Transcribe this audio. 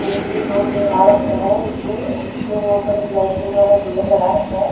Room दिखा रखा है इसमें जिसमें ऊपर एक लाइटिंग वाला झूमर लगा रखे है।